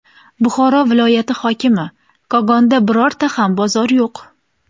Buxoro viloyati hokimi: Kogonda birorta ham bozor yo‘q.